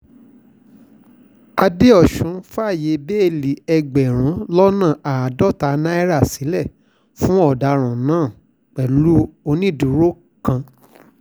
àdẹ́osùn fààyè bẹ́ẹ́lí ẹgbẹ̀rún lọ́nà àádọ́ta náírà sílẹ̀ fún ọ̀daràn náà pẹ̀lú onídùúró kan